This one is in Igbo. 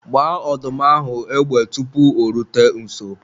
gbaa ọdụm ahụ égbè tupu o rute nso!